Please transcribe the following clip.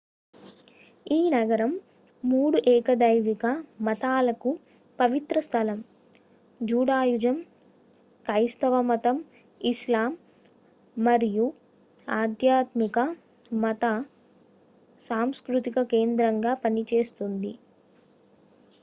ఈ నగరం మూడు ఏకదైవిక మతాలకు పవిత్ర స్థలం జుడాయిజం క్రైస్తవమతం ఇస్లాం మరియు ఆధ్యాత్మిక మత సాంస్కృతిక కేంద్రంగా పనిచేస్తుంది